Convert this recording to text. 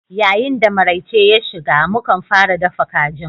Yayin da maraice ya shiga, mu kan fara dafa kajin.